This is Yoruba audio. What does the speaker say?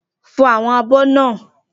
Fọ àwọn abọ́ náà!